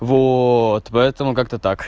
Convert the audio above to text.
вот в этом как